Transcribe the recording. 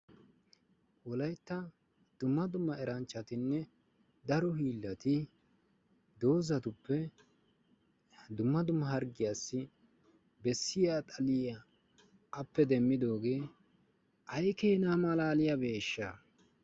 Wolaytta dumma dumma eranchchatinne daro hiillaati doozatuppe dumma dumma harggiyaassi bessiya xaliya appee demmiddoogee ay keena malaliyabeeshsha!